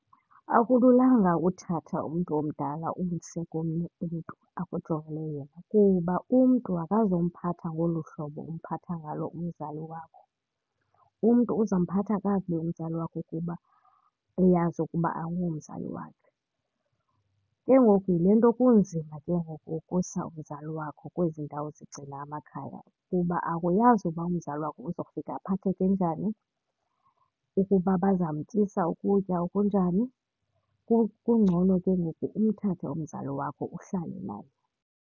Akululanga uthatha umntu omdala umse komnye umntu akujongele yena kuba umntu akazumphatha ngolu hlobo umphatha ngalo umzali wakho. Umntu uza mphatha kakubi umzali wakho kuba uyazi ukuba akungomzali wakhe. Ke ngoku yile nto kunzima ke ngoku ukusa umzali wakho kwezi ndawo zigcina amakhaya kuba akuyazi uba umzali wakho uzofika aphatheke enjani, ukuba bazamtyisa ukutya okunjani. Kungcono ke ngoku umthathe umzali wakho uhlale naye.